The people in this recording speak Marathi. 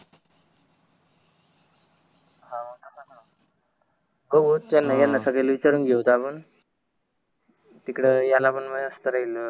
बघू चल न ये न संगद्या ले विचारून घेऊत आपण तिकड याला पण मस्त